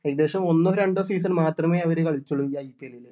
ഏകദേശം ഒന്നോ രണ്ടോ season മാത്രമേ അവര് കളിച്ചൊള്ളു ഈ IPL ല്